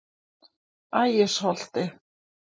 Ægisholti